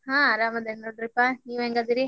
ಹಾ ಆರಾಮದೇನಿ ನೋಡ್ರಿಪಾ ನೀವ್ ಹೆಂಗ್ ಅದಿರಿ?